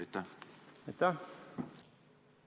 Aitäh!